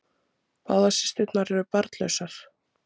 Báðar systurnar eru barnlausar